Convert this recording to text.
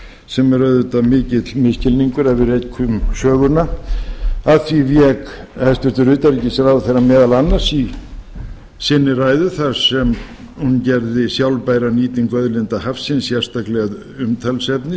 sem er auðvitað mikill misskilningur ef við rekjum söguna að því vék hæstvirts utanríkisráðherra meðal annars í sinni ræðu þar sem hún gerði sjálfbæra nýtingu auðlinda hafsins sérstaklega að umtalsefni